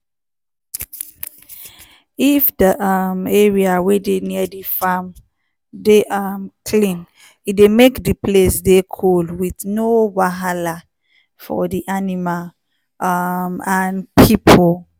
if di um area wey dey near di farm dey um clean e dey make di place dey cool with no wahala for the animal um and people.